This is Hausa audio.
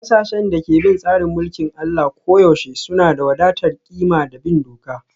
Ƙasashen da ke bin tsarin mulkin Allah koyaushe suna da wadatar ƙima da bin doka